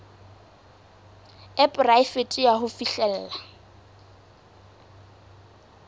e poraefete ya ho fihlella